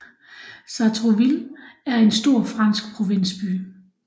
Sartrouville er en stor fransk provinsby